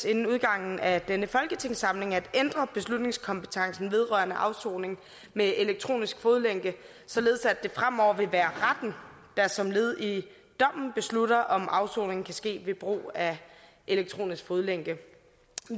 inden udgangen af denne folketingssamling at ændre beslutningskompetencen vedrørende afsoning med elektronisk fodlænke således at det fremover vil være retten der som led i dommen beslutter om afsoning kan ske ved brug af elektronisk fodlænke